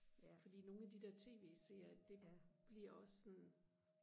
fordi nogle af de der tv serier det bliver også sådan